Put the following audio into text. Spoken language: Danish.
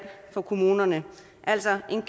for kommunerne altså en